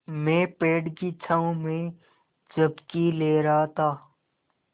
मैं पेड़ की छाँव में झपकी ले रहा था